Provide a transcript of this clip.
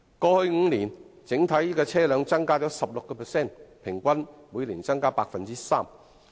過去5年，整體車輛數目已增加 16%， 平均每年增加 3%。